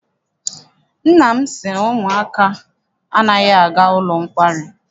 Nna m sị na ụmụaka anaghị aga n'ụlọ nkwari.